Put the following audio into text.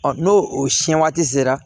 n'o o siɲɛ waati sera